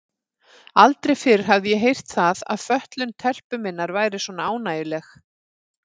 Aldrei fyrr hafði ég heyrt það að fötlun telpu minnar væri svona ánægjuleg.